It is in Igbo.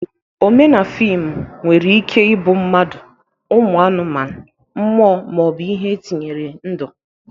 Omee na fịmụ nwere ike ịbụ mmadu, ụmụ anụmanụ, mmụọ, ma ọ bụ ihe etinyere ndu..